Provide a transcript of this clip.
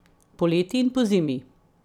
Poleti in pozimi.